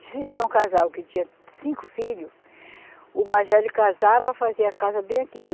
Se tinha um casal que tinha cinco filhos, o mais velho casava, fazia a casa bem aqui do